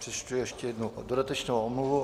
Přečtu ještě jednou dodatečnou omluvu.